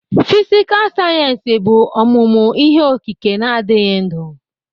Fịsịkà sayensị bụ ọmụmụ ihe okike na-adịghị ndụ.